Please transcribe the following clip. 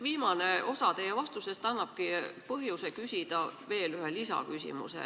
Viimane osa teie vastusest annabki põhjuse küsida veel ühe lisaküsimuse.